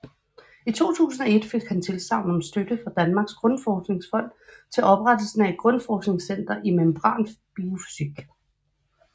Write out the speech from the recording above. I 2001 fik han tilsagn om støtte fra Danmarks Grundforskningsfond til oprettelsen af et grundforskningscenter i membranbiofysik